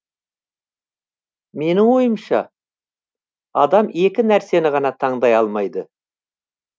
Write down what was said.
менің ойымша адам екі нәрсені ғана таңдай алмайды